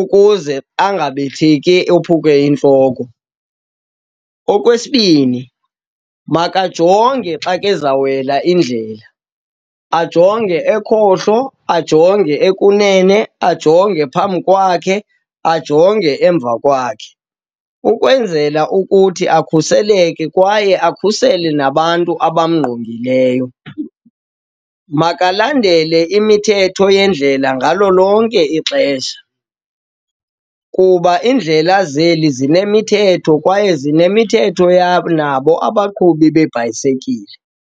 ukuze angabetheki ophuke intloko. Okwesibini, makajonge xa kezawuwela indlela, ajonge ekhohlo, ajonge okunene, ajonge phambi kwakhe, ajonge emva kwakhe, ukwenzela ukuthi akhuseleke kwaye akhusele nabantu abamngqongileyo. Makalandele imithetho yendlela ngalo lonke ixesha, kuba iindlela zeli zinemithetho kwaye zinemithetho yabo nabo abaqhubi beebhayisekile.